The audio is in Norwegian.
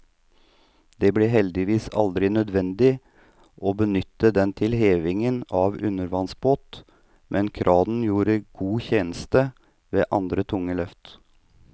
Det ble heldigvis aldri nødvendig å benytte den til heving av undervannsbåt, men kranen gjorde god tjeneste ved andre tunge løft.